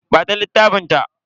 Ba ta littafin ta.